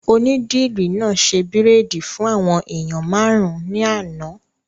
Onídìrí náà ṣe bírèèdì fún àwọn èèyàn máàrún ní àná